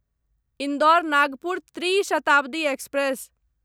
Indore Nagpur Tri Shatabdi express